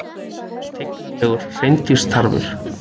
Tignarlegur hreindýrstarfur